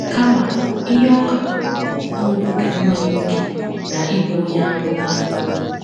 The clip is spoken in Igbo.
Kama, ihe ọ katọrọ bụ ịṅụbiga mmanya ókè na ịbụ onye aṅụrụma.